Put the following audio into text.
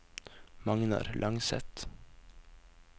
Magnar Langseth